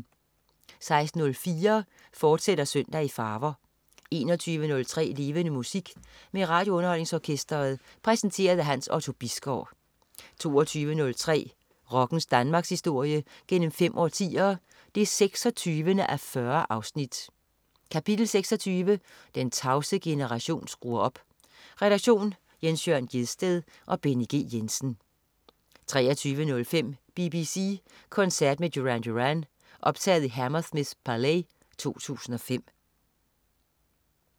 16.04 Søndag i farver, fortsat 21.03 Levende Musik. Med RadioUnderholdningsOrkestret. Præsenteret af Hans Otto Bisgaard 22.03 Rockens Danmarkshistorie gennem fem årtier, 26:40. Kapitel 26: Den tavse generation skruer op. Redaktion: Jens Jørn Gjedsted og Benny G. Jensen 23.05 BBC koncert med Duran Duran. optaget i The Hammersmith Palais 2005